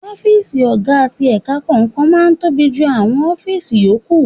Ọ́fíìsì ọ̀gá ti ẹ̀ka kọ̀ọ̀kan máa ń tóbi jù àwọn ọ́fíìsì yòókù.